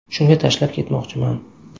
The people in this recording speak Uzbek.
Shunga tashlab ketmoqchiman.